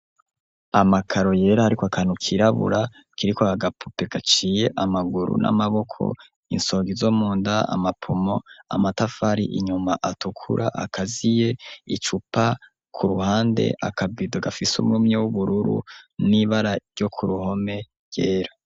Amakaro yera ariko akantu kirabura kiriko agapupe gaciye amaguru n'amaboko insongi izo munda amapumo amatafari inyuma atukura akaziye icupa ku ruhande akabido gafise umwumye w'ubururu n'ibara ryo kuruhome ryera.